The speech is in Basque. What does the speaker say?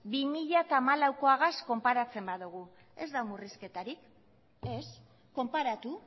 bi mila hamalauagaz konparatzen badugu ez da murrizketarik ez konparatu